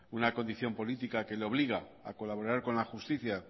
una condición política que le obliga a colaborar con la justicia